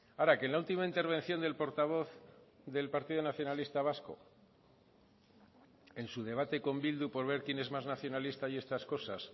ahora que en la última intervención del portavoz del partido nacionalista vasco en su debate con bildu por ver quién es más nacionalista y estas cosas